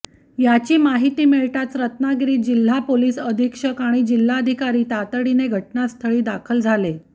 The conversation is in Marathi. याची माहिती मिळताच रत्नागिरी जिल्हा पोलिस अधीक्षक आणि जिल्हाधिकारी तातडीने घटनास्थळी दाखल झाले